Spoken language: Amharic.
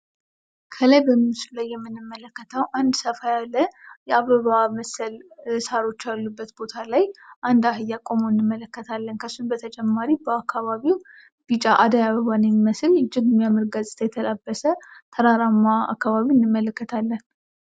ከላይ በምስሉ ላይ የምንመለከተው አንድ ሰፋ ያለ የአበባ ምስል ሳሮች ያሉበት ቦታ ላይ አንድ አህያ ቆሞ እንመለከታለን ከእሱ በተጨማሪ በአካባቢ ው ቢጫ አደይ አበባን የሚመስል እጅግ የሚያምር ገጽታ የተላበሰ ተራራማ አካባቢ እንመለከታለን።